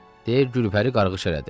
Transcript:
Deyə Gülpəri qarğış elədi.